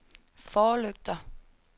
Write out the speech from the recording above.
forlygter